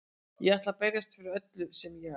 Ég ætla að berjast fyrir öllu sem ég á.